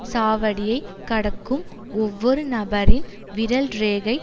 சாவடியை கடக்கும் ஒவ்வொரு நபரின் விரல் ரேகை